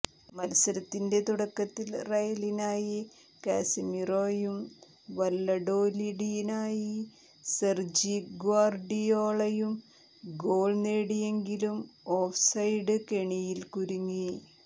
മത്സരത്തിന്റെ തുടക്കത്തിൽ റയലിനായി കാസമിറോയും വല്ലഡോലിഡിനായി സെർജി ഗ്വാർഡിയോളയും ഗോൾ നേടിയെങ്കിലും ഓഫ്സൈഡ് കെണിയിൽ കുരുങ്ങി